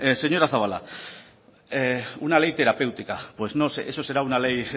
señora zabala una ley terapéutica pues eso será una ley